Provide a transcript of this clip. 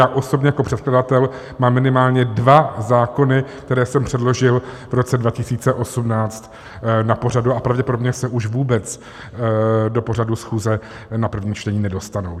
Já osobně jako předkladatel mám minimálně dva zákony, které jsem předložil v roce 2018 na pořadu a pravděpodobně se už vůbec do pořadu schůze a první čtení nedostanou.